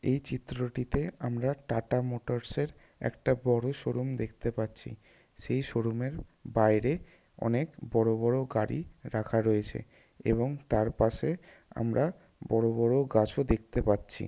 এই চিত্রটিতে আমরা টাটা মোটরসের একটা বড় শো রুম দেখতে পাচ্ছি। সেই শো রুমের বাইরে অনেক বড় বড় গাড়ি ও রাখা রয়েছে এবং তার পাশে আমরা বড় বড় গাছও দেখতে পাচ্ছি।